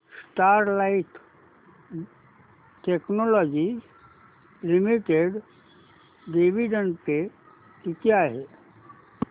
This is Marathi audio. Sterlite technologies limited dividend pay किती आहे